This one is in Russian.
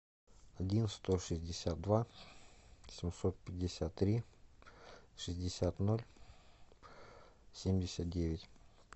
один сто шестьдесят два семьсот пятьдесят три шестьдесят ноль семьдесят девять